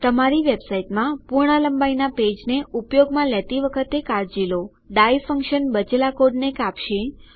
તમારી વેબસાઈટમાં પૂર્ણ લંબાઈનાં પેજને ઉપયોગમાં લેતી વખતે કાળજી લો ડાઇ ફંક્શન બચેલા કોડને કાપશે